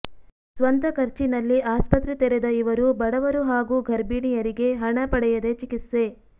ಸ್ವಂತ ಖರ್ಚಿನಲ್ಲಿ ಆಸ್ಪತ್ರೆ ತೆರೆದ ಇವರು ಬಡವರು ಹಾಗೂ ಗರ್ಭಿಣಿಯರಿಗೆ ಹಣ ಪಡೆಯದೇ ಚಿಕಿತ್ಸೆ